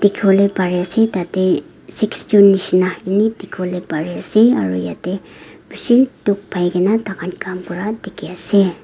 savolae pari ase tate sixteen nishina eni dikivolae pari ase aro yate bishi duk pai kina taikan kam kura dikhi ase.